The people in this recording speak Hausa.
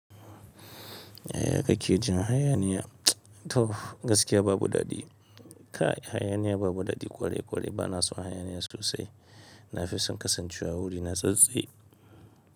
Yaya kake jin hayaniya? To gaskiya babu daɗi. Kai hayaniya babu daɗi ƙwarai-ƙwarai bana son hayaniya sosai. Nafison kasancewa wuri natsattse.